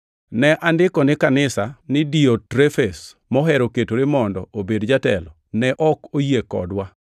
Ne andiko ni kanisa, to Diotrefes, mohero ketore mondo obed jatelo, ne ok oyie kodwa.